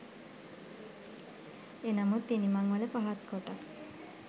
එනමුත් ඉනිමං වල පහත් කොටස්